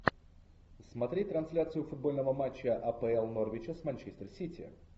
смотреть трансляцию футбольного матча апл норвича с манчестер сити